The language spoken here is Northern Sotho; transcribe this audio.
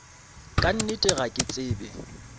ka nnete ga ke tsebe